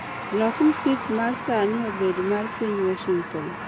Lok msip mar saani obed mar piny washington